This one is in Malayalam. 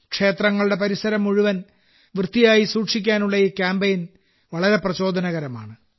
ക്ഷേത്രങ്ങളുടെ പരിസരം മുഴുവൻ വൃത്തിയായി സൂക്ഷിക്കാനുള്ള ഈ കാമ്പയിൻ വളരെ പ്രചോദനകരമാണ്